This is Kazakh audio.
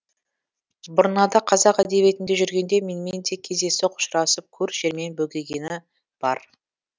бұрнада қазақ әдебиетінде жүргенде менімен де кездейсоқ ұшырасып көр жермен бөгегені бар